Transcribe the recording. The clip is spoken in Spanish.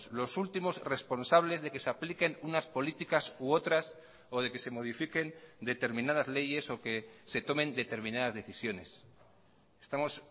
los últimos responsables de que se apliquen unas políticas u otras o de que se modifiquen determinadas leyes o que se tomen determinadas decisiones estamos